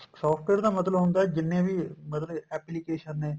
software ਦਾ ਮਤਲਬ ਹੁੰਦਾ ਜਿੰਨੇ ਵੀ ਮਤਲਬ application ਨੇ